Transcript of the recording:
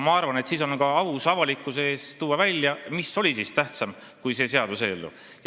Ma arvan, et siis on ka aus avalikkuse ees välja tuua, mis oli tähtsam kui see seaduseelnõu.